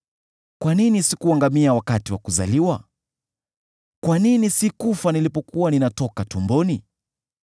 “Kwa nini sikuangamia wakati wa kuzaliwa? Kwa nini sikufa nilipokuwa ninatoka tumboni?